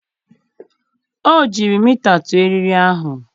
o jiri mita tụọ eriri ahụ.